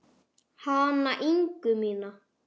Hana Ingu mína.